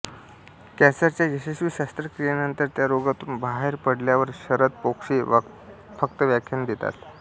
कॅन्सरच्या यशस्वी शस्त्रक्रियेनंतर त्या रोगातून बाहेर पडल्यावर शरद पोंक्षे फक्त व्याख्याने देतात